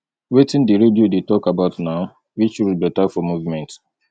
wetin di radio dey talk about now which road beta for movement